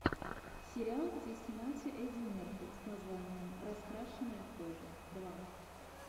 сериал где снимался эдди мерфи с названием раскрашенная кожа два